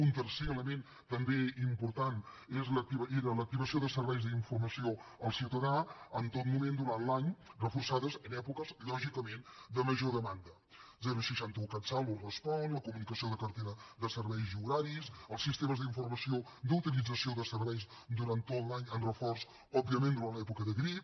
un tercer element també important era l’activació de serveis d’informació al ciutadà en tot moment durant l’any reforçats en èpoques lògicament de major demanda seixanta un catsalut respon la comunicació de cartera de serveis i horaris els sistemes d’informació d’utilització de serveis durant tot l’any amb reforç òbviament durant l’època de grip